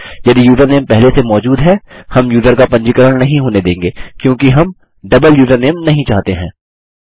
यदि यूज़रनेम पहले से मौजूद है हम यूज़र का पंजीकरण नहीं होने देंगे क्योंकि हम डबल यूज़रनेम नहीं चाहते हैं